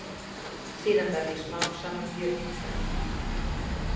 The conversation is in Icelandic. Síðan verð ég smám saman mjög indæll.